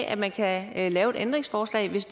at man kan lave et ændringsforslag hvis